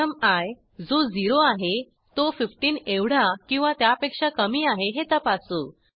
प्रथम आय जो 0 आहे तो 15एवढा किंवा त्यापेक्षा कमी आहे हे तपासू